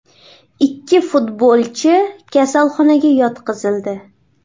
Ikki futbolchi kasalxonaga yotqizildi .